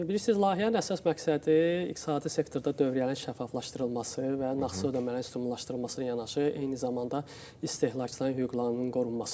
Bilirsiz, layihənin əsas məqsədi iqtisadi sektorda dövriyyənin şəffaflaşdırılması və nağdsız ödənişlərin stimullaşdırılması ilə yanaşı, eyni zamanda istehlakçıların hüquqlarının qorunmasıdır.